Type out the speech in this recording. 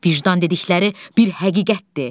Vicdan dedikləri bir həqiqətdir.